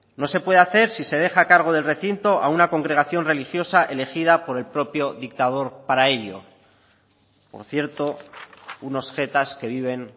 no se puede hacer si se deja a cargo del recinto a una congregación religiosa elegida por el propio dictador para ello por cierto unos jetas que viven